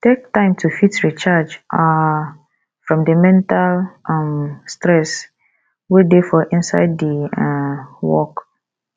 take time to fit recharge um from di mental um stress wey dey for inside di um work